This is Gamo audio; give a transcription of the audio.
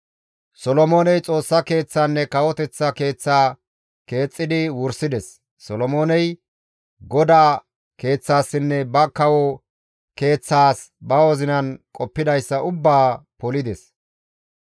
Solomooney Xoossa Keeththaanne kawoteththa keeththaa keexxidi wursides; Solomooney GODAA keeththaassinne ba kawo keeththaas ba wozinan qoppidayssa ubbaa polides.